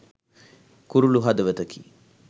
කුරුලු හදවතකි